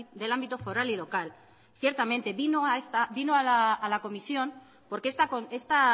del ámbito foral y local ciertamente vino a esta vino a la comisión porque esta